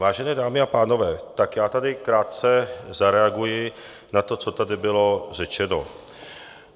Vážené dámy a pánové, tak já tady krátce zareaguji na to, co tady bylo řečeno.